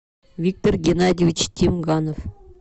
виктор геннадьевич тимганов